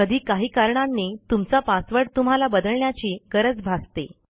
कधी काही कारणांनी तुमचा पासवर्ड तुम्हाला बदलण्याची गरज भासते